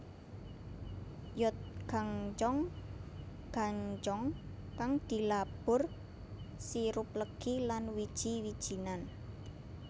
Yeotgangjeong gangjeong kang dilabur sirup legi lan wiji wijinan